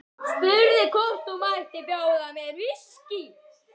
Spurði hvort hún mætti bjóða mér viskí.